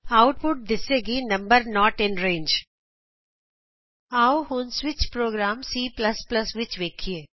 output ਇੰਝ ਆਏਗੀ number not in range ਆਉ ਅਸੀਂ ਹੁਣ ਸਵਿਚ ਪ੍ਰੋਗਰਾਮ C ਵਿਚ ਵੇਖੀਏ